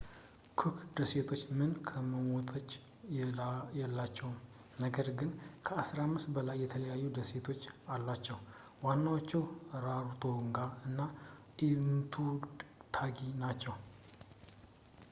ኩክ ደሴቶች ምንም ከተሞች የላቸው ነገር ግን ከ15 በላይ የተለያዩ ደሴቶች አሏቸው ዋናዎቹ ራሮቶንጋ እና ኤቱታኪ ናቸው